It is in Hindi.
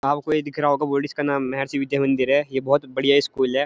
आप को ये दिख रहा होगा बोर्ड इसका नाम महर्षि विद्या मंदिर है ये बहुत बढ़िया स्कूल है।